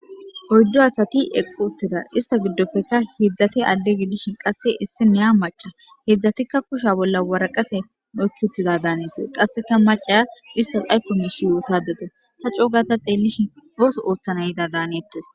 Oyddu asathi eqquuththida; istha giddoppekka heedzdzathe adde gidishin qasse issinniya macca; heedzdzathikka kushiya bolla waraqathey oykki uththida daanethes; qassika macciya isthas aykko miishsha yoothaadde dawu; tha coo gaada xeellishin ooso ooththana yidaa daaneeththes.